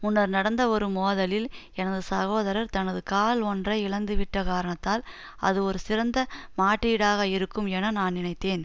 முன்னர் நடந்த ஒரு மோதலில் எனது சகோதரர் தனது கால் ஒன்றை இழந்துவிட்ட காரணத்தால் அது ஒரு சிறந்த மாற்றீடாக இருக்கும் என நான் நினைத்தேன்